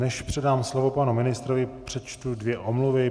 Než předám slovo panu ministrovi, přečtu dvě omluvy.